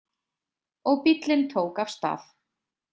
Og bíllinn tók af stað.